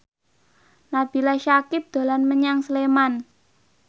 Nabila Syakieb dolan menyang Sleman